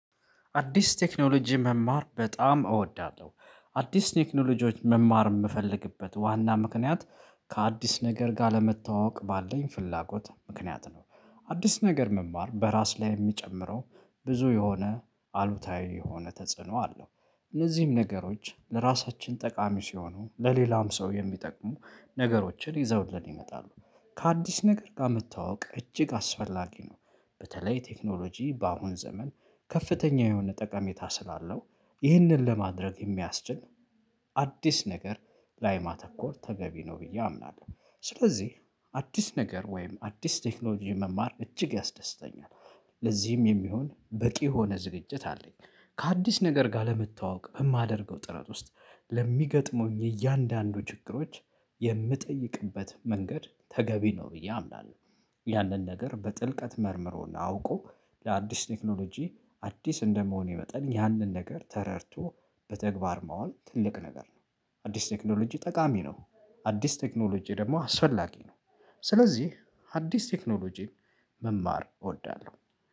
አዲስ ቴክኖሎጂ መማር በጣም እወዳለሁ አዲስ ቴክኖሎጂዎች መማር የምፈልግበት ዋና ምክንያት ከአዲስ ነገር ጋር ለመተዋወቅ ባለኝ ፍላጎት ምክንያት ነው። አዲስ ነገር መማር በራስ ላይ የሚጨምረው ብዙ የሆነ አሉታዊ የሆነ ተጽዕኖ አለው። እነዚህም ነገሮች ለራሳችን ጠቃሚ ሲሆኑ ለሌላም ሰው የሚጠቅሙ ነገሮችን ይዘውልን ይመጣሉ። ከአዲስ ነገር ጋር መተዋወቅ እጅግ አስፈላጊ ነው። በተለይ ቴክኖሎጂ በአሁን ዘመን ከፍተኛ የሆነ ጠቀሜታ ስላለው ይህንን ለማድረግ የሚያስችል አዲስ ነገር ላይ ማተኮር ተገቢ ነው ብዬ አምናለሁ። ስለዚህ አዲስ ነገር ወይም አዲስ ቴክኖሎጂ መማር እጅግ ያስደስተኛል። ለዚህም የሚሆን በቂ የሆነ ዝግጅት አለኝ። ከአዲስ ነገር ጋር ለመተዋወቅ በማደርገው ጥረት ውስጥ ለሚገጥሙኝ እያንዳንዱ ችግሮች የምጠይቅበት መንገድ ተገቢ ነው ብዬ አምናለሁ። ያንን ነገር በጥልቀት መርምሮና አውቆ ለአዲስ ቴክኖሎጂ አዲስ እንደመሆኔ መጠን ያንን ነገር ተረድቶ በተግባር ማዋል ትልቅ ነገር ነው። አዲስ ቴክኖሎጂ ጠቃሚ ነው። አዲስ ቴክኖሎጂ ደግሞ አስፈላጊ ነው። ስለዚህ አዲስ ቴክኖሎጂን መማር እወዳለሁ።